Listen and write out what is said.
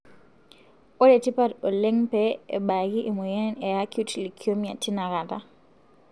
ene tipat oleng pee embaaki emoyian e acute leukemia tina kata.